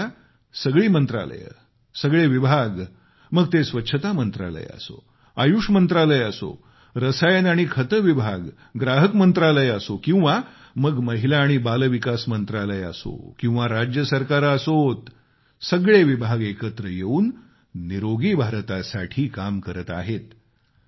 मात्र आता सगळी मंत्रालये आणि विभाग मग ते स्वच्छता मंत्रालय असो आयुष मंत्रालय असो रसायन आणि खते विभाग ग्राहक मंत्रालय असो किंवा मग महिला आणि बालविकास मंत्रालय असो किंवा राज्य सरकारं असोत सगळे विभाग एकत्र येऊन निरोगी भारतासाठी काम करत आहेत